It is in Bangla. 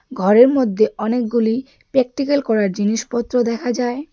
ঘরের মধ্যে অনেকগুলি প্র্যাকটিক্যাল করার জিনিসপত্র দেখা যায়.